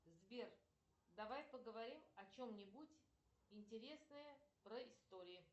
сбер давай поговорим о чем нибудь интересное про истории